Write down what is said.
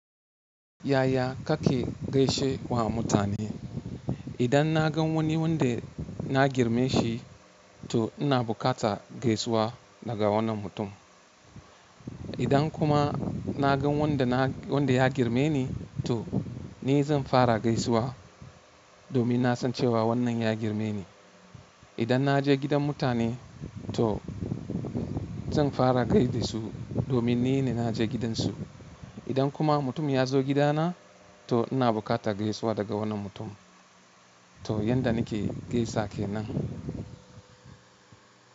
Yaya kake gaishe wa mutane? Idan na gan wani wanda na girme shi, to ina bukata gaisuwa daga wannan mutum. Idan kuma na gan wanda na wanda ya girmeni, to ni zan fara gaisuwa domin na san cewa wannan ya girmeni. Idan na je gidan mutane to zan fara gaida su domin ni ne na je gidansu. Idan kuma mutum ya zo gidana to ina bukatar gaisuwa daga wannan mutum. To yanda nake gaisa kenan.